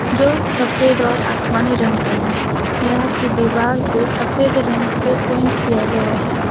जो सफेद और आसमानी रंग का है यहां की दीवार को सफेद रंग से पेंट किया गया है।